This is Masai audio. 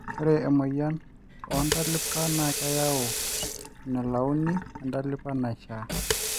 ore emoyian oo ntalipa na keyau enelauni entalipa naishaa